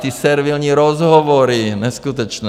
Ty servilní rozhovory, neskutečné.